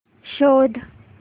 शोध